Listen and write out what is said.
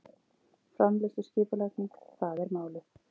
Framleiðsluskipulagning- það er málið!